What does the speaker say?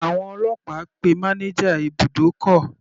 Àwọn ọlọ́pàá pe manager ibùdókọ̀.